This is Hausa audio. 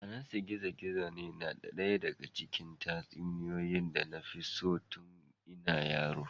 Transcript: Anansi gizo-gizo na ɗaya daga cikin tatsuniyoyi da na fi so tun ina yaro.